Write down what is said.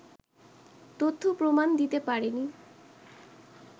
তথ্য-প্রমাণ দিতে পারেনি